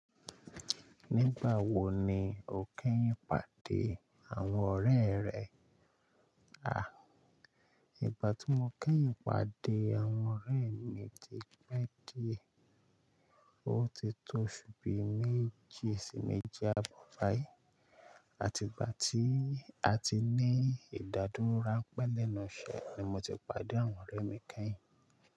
Nígbà wo ni o kẹ́yìn pàdé àwọn ọ̀rẹ́ rẹ? A, ìgbà tí mo kẹ́yìn pàdé àwọn ọ̀rẹ́ mi ti pẹ́ dí ẹ̀. O ti tó oṣú bí méjì sí méjì àbọ̀ bayìí. Àti ìgbà tí a ti ní ìdádúró ránpẹ́ lẹ́nu iṣẹ́ ni mo ti pàdé àwọn ọ̀rẹ́ mi kẹ́yìn.